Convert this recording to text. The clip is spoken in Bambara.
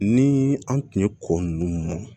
Ni an tun ye ko ninnu